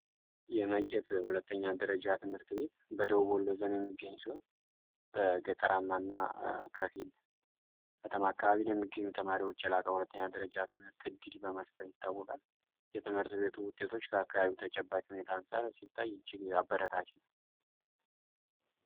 የመቄት ሁለተኛ ደረጃ ትምህርት ቤት በደቡብ ወሎ የሚገኝ ሲሆን በገጠራማ እና ከፊል ከተማ አካባቢዎች ለሚገኙ ተማሪዎች የላቀ ሁለተኛ ደረጃ ትምህርት እድል በመስጠት ይታወቃል የትምህርት ቤቱ ውጤቶች ከአካባቢው ነባራዊ ሁኔታ አንፃር ሲታይ እጅ አበረታች ነው።